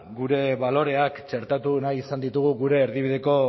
gure baloreak txertatu nahi izan ditugu gure erdibideko